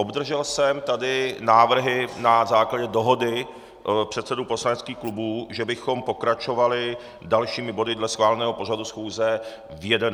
Obdržel jsem tady návrhy na základě dohody předsedů poslaneckých klubů, že bychom pokračovali dalšími body dle schváleného pořadu schůze v 11.00 hodin.